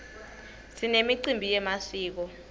sinemicimbi yemasiko